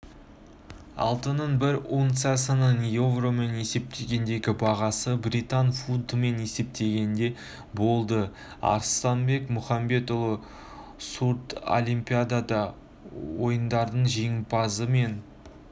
алтынның бір унциясының еуромен есептегендегі бағасы британ фунтымен есептегенде болды арыстанбек мұхамедиұлы сурдлимпиада ойындарының жеңімпазы мен